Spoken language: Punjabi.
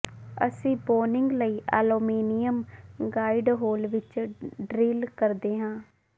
ਅਸੀਂ ਬੌਨਿੰਗ ਲਈ ਐਲੂਮੀਨੀਅਮ ਗਾਈਡ ਹੋਲ ਵਿਚ ਡਿਰਲ ਕਰਦੇ ਹਾਂ